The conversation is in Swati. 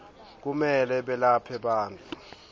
kumele belaphe bantfu